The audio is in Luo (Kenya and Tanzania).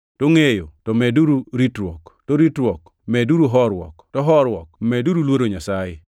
to ngʼeyo to medeuru ritruok, to ritruok medeuru horuok, to horuok to medeuru luoro Nyasaye,